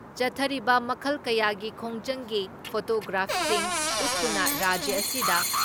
ꯆꯠꯊꯔꯤꯕ ꯃꯈꯜ ꯀꯌꯥꯒꯤ ꯈꯣꯡꯖꯪꯒꯤ ꯐꯣꯇꯣꯒ꯭ꯔꯥꯐꯁꯤꯡ ꯎꯠꯇꯨꯅ ꯔꯥꯖ꯭ꯌ ꯑꯁꯤꯗ